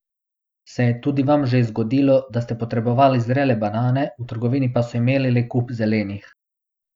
Se je tudi vam že zgodilo, da ste potrebovali zrele banane, v trgovini pa so imeli le kup zelenih?